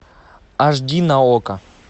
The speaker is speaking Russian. аш ди на окко